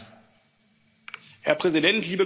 Herr Präsident, liebe Kolleginnen und Kollegen!